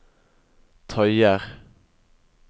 tøyer